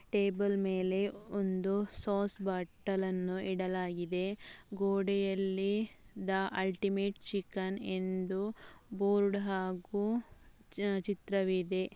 Table ಮೇಲೆ ಒಂದು sauce ಬಾಟಲಿಯನ್ನು ಇಡಲಾಗಿದೆ ಗೋಡೆಯಲ್ಲಿ ದಿ ಅಲ್ಟಿಮೇಟ್‌ ಚಿಕನ್‌ ಎಂದು ಬೋರ್ಡ್‌ ಹಾಗೂ ಚಿತ್ರವಿದೆ.